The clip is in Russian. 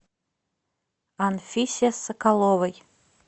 анфисе соколовой